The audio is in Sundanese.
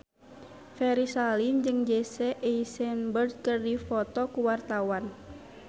Ferry Salim jeung Jesse Eisenberg keur dipoto ku wartawan